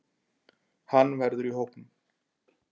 Hann verður í hópnum.